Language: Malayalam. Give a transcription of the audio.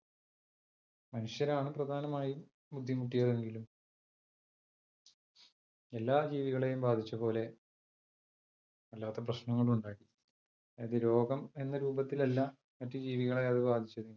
മനുഷ്യരാണ് പ്രധാനം ആയി ബുദ്ധി മുട്ടിയത് എങ്കിലും എല്ലാ ജീവികളെയും ബാധിച്ച പോലെ വല്ലാത്ത പ്രശ്നങ്ങളും ഉണ്ടാക്കി, അതു രോഗം എന്ന രൂപത്തിലല്ല മറ്റ് ജീവികളെ അതു ബാധിച്ചത്.